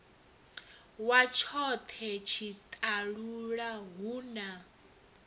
wa tshone tshiṱalula hu na